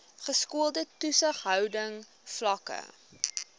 geskoolde toesighouding vlakke